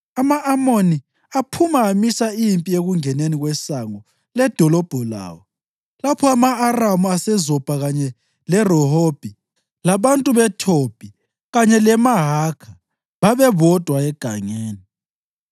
Ama-Amoni aphuma amisa impi ekungeneni kwesango ledolobho lawo, lapho ama-Aramu aseZobha kanye leRehobhi labantu beThobhi kanye leMahakha babebodwa egangeni.